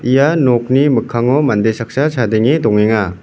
ia nokni mikkango mande saksa chadenge dongenga.